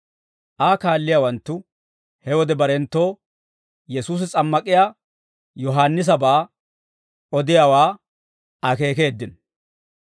Aa kaalliyaawanttu he wode barenttoo Yesuusi S'ammak'iyaa Yohaannisabaa odiyaawaa akeekeeddino.